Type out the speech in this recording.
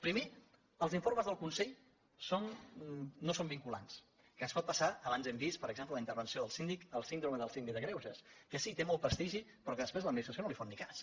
primer els informes del consell no són vinculants que ens pot passar abans ho hem vist per exemple en la intervenció del síndic la síndrome del síndic de greuges que sí té molt prestigi però que després l’administració no li fot ni cas